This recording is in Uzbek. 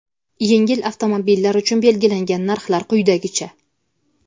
yengil avtomobillar uchun belgilangan narxlar quyidagicha:.